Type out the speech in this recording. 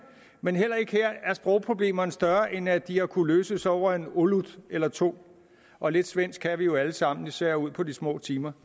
men heller ikke her er sprogproblemerne større end at de har kunnet løses over en olut eller to og lidt svensk kan vi jo alle sammen især ud på de små timer